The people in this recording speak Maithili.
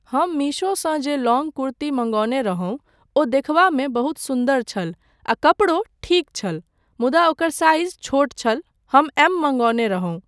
हम मीशोसँ जे लॉङ्ग कुर्ती मंगौने रहुँ ओ देखबामे बहुत सुन्दर छल आ कपड़ो ठीक छल मुदा ओकर साइज छोट छल हम 'एम' मंगौने रहुँ।